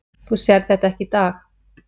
Þú sérð þetta ekki í dag